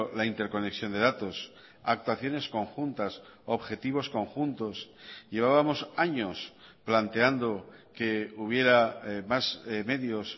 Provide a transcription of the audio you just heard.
la interconexión de datos actuaciones conjuntas objetivos conjuntos llevábamos años planteando que hubiera más medios